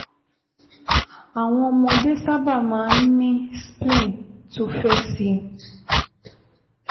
Àwọn ọmọdé sábà máa ń ní spleen tó fẹ̀ síi